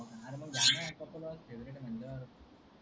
अरे मंग घ्या न कपल वॉच फेवरेट म्हणल.